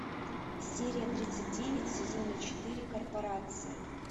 серия тридцать девять сезона четыре корпорация